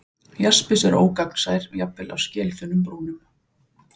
Jaspis er ógagnsær, jafnvel á skelþunnum brúnum.